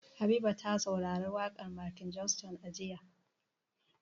Habiba ta saurari waƙar Michael Jackson jiya.